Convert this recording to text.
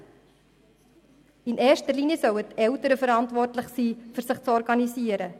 Natürlich sollen in erster Linie die Eltern verantwortlich sein, sich zu organisieren.